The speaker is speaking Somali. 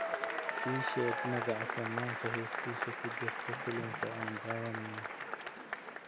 ii sheeg magaca fanaanka heestiisu ku jirto filimka aan daawanayo